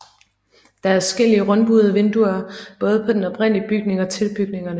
Der er adskillige rundbuede vinduer både på den oprindelige bygning og tilbygningerne